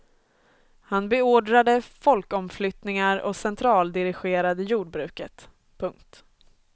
Han beordrade folkomflyttningar och centraldirigerade jordbruket. punkt